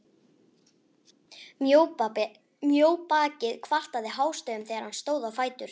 Mjóbakið kvartaði hástöfum þegar hann stóð á fætur.